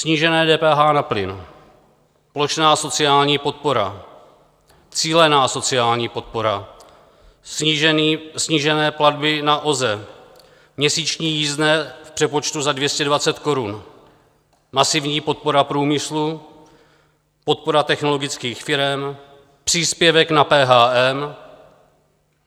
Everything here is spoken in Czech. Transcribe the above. Snížené DPH na plyn, plošná sociální podpora, cílená sociální podpora, snížené platby na OZE, měsíční jízdné v přepočtu za 220 korun, masivní podpora průmyslu, podpora technologických firem, příspěvek na PHM.